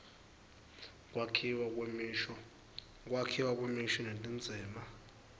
kwakhiwa kwemisho netindzima